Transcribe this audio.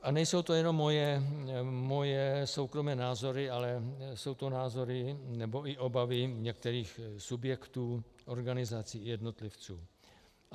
A nejsou to jenom moje soukromé názory, ale jsou to názory nebo i obavy některých subjektů, organizací a jednotlivců.